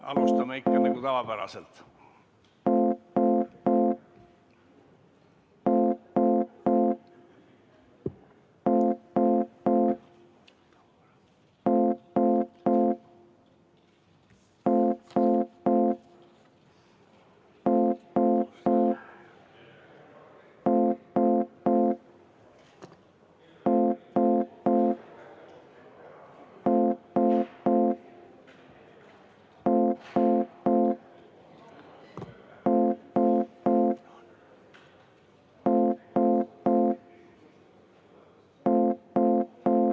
Alustame nagu tavapäraselt.